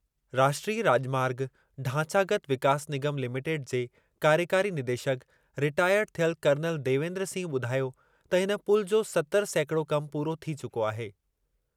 राष्ट्रीय राॼमार्ग ढांचागत विकास निगम लिमिटेड जे कार्यकारी निदेशकु, रिटायर्ड थियल कर्नल देवेन्द्र सिंह ॿुधायो त हिन पुलु जो सतरि सैकिड़ो कमु पूरो थी चुको आहे।